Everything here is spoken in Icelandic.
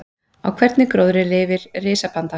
Á hvernig gróðri lifir risapanda?